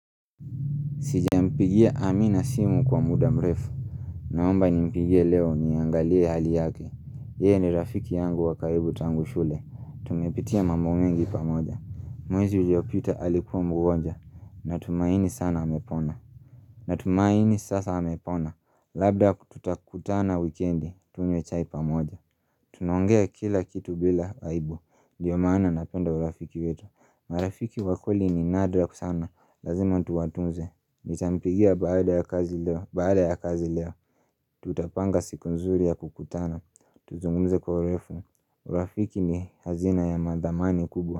Sijampigia amina simu kwa muda mrefu Naomba nimpigie leo niangalie hali yake Yeye ni rafiki yangu wa karibu tangu shule Tumepitia mambo mengi pamoja Mwezi uliopita alikuwa mgonjwa Natumaini sana amepona Natumaini sasa amepona Labda tutakutana wikendi tunywe chai pamoja Tunaongea kila kitu bila aibu nDio maana napenda urafiki wetu marafiki wa kweli ni nadra sana Lazima tuwatunze Nitampigia baada ya kazi leo Baada ya kazi leo Tutapanga siku nzuri ya kukutana Tuzungumze kwa urefu Rafiki ni hazina ya mathamani kubwa.